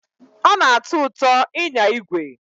Ọ na-atọ ụtọ ịnya igwe.